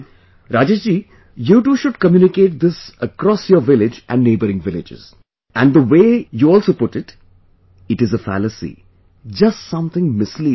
Rajesh ji, you too should communicate this across your village and neighbouring villages...and the way you also put it it is a fallacy...just something misleading